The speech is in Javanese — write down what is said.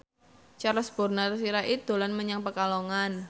Charles Bonar Sirait dolan menyang Pekalongan